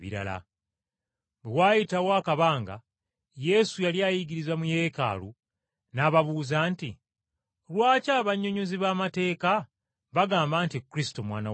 Bwe waayitawo akabanga, Yesu yali ayigiriza mu Yeekaalu, n’ababuuza nti, “Lwaki abannyonnyozi b’amateeka bagamba nti Kristo Mwana wa Dawudi?